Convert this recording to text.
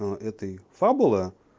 но это и фабула